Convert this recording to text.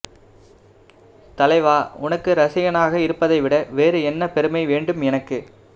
தலைவா உனக்கு ரசிகனாக இருப்பதை விட வேறு என்ன பெருமை வேண்டும் எனக்கு